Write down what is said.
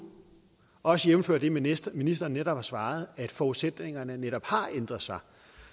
også jævnfør det ministeren ministeren netop har svaret at forudsætningerne netop har ændret sig